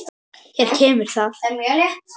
Hér kemur það.